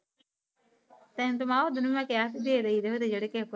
ਤੇਨੁ ਤਾ ਮੈ ਓਦਨ ਵੀ ਮੈ ਕ਼ਇਆ ਸੀ ਦੇਦੇ ਜਿਦੇ ਜਿਦੇ ਕੇਰ